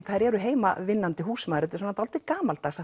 þær eru heimavinnandi húsmæður dálítið gamaldags